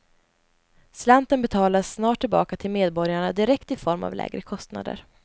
Slanten betalas snart tillbaka till medborgarna direkt i form av lägre kostnader.